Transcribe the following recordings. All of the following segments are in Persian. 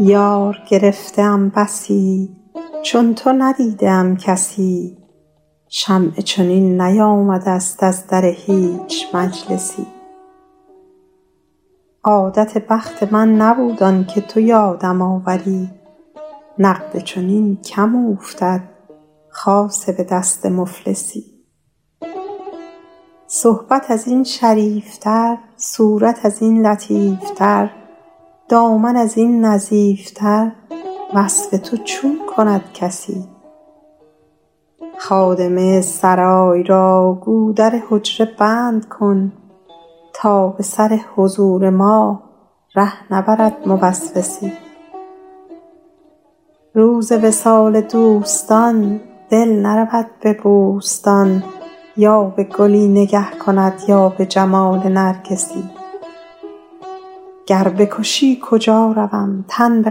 یار گرفته ام بسی چون تو ندیده ام کسی شمعی چنین نیامده ست از در هیچ مجلسی عادت بخت من نبود آن که تو یادم آوری نقد چنین کم اوفتد خاصه به دست مفلسی صحبت از این شریف تر صورت از این لطیف تر دامن از این نظیف تر وصف تو چون کند کسی خادمه سرای را گو در حجره بند کن تا به سر حضور ما ره نبرد موسوسی روز وصال دوستان دل نرود به بوستان یا به گلی نگه کند یا به جمال نرگسی گر بکشی کجا روم تن به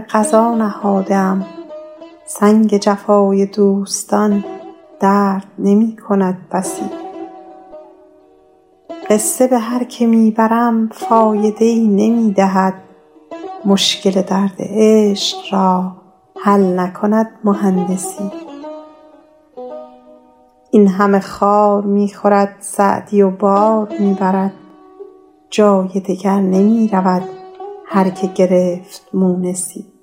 قضا نهاده ام سنگ جفای دوستان درد نمی کند بسی قصه به هر که می برم فایده ای نمی دهد مشکل درد عشق را حل نکند مهندسی این همه خار می خورد سعدی و بار می برد جای دگر نمی رود هر که گرفت مونسی